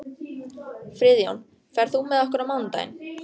Friðjón, ferð þú með okkur á mánudaginn?